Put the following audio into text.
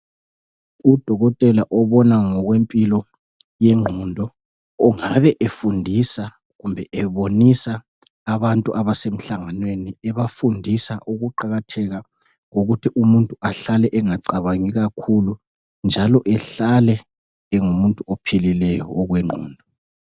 Udokotela obona ngokwempilo yengqondo, ongabe efundisa, kumbe ebonisa abantu, abasemhlanganweni. Ebafundisa ukuqakatheka kokuthi umuntu ahlale engacabangi kakhulu, njalo ehlale engumuntu ophilileyo, okwengqondo.